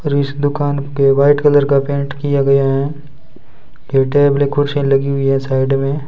और इस दुकान पे व्हाइट कलर का पेंट किया गया है ये टेबले कुर्सीयां लगी हुई है साइड में।